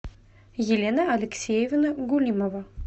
елена алексеевна гулимова